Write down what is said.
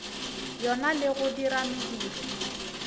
yona le go dira mediro